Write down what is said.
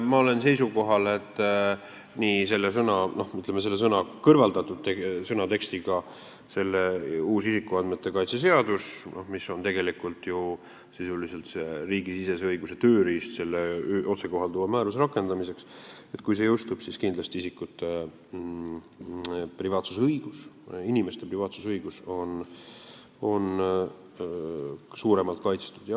Ma olen seisukohal, et kui jõustub see tekst, kust see sõna on kõrvaldatud, see uus isikuandmete kaitse seadus, mis on tegelikult sisuliselt riigisisese õiguse tööriist selle otsekohalduva määruse rakendamiseks, siis on isikute privaatsusõigus, inimeste privaatsusõigus kindlasti paremini kaitstud.